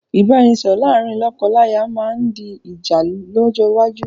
Ìbáraẹnisọọ̀rọ̀ láàrín lọ́kọ-láya máa ma di ìjà lọ́jọ́ iwájú